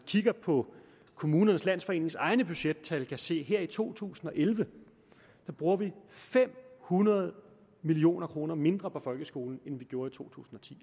kigger på kommunernes landsforenings egne budgettal kan se her i to tusind og elleve bruger fem hundrede million kroner mindre på folkeskolen end vi gjorde i to tusind